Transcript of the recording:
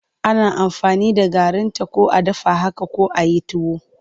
Ana aamfani da garinta ko a dafa haka ko a yi tuwo.